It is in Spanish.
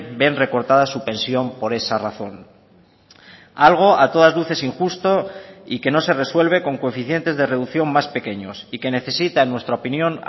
ven recortada su pensión por esa razón algo a todas luces injusto y que no se resuelve con coeficientes de reducción más pequeños y que necesita en nuestra opinión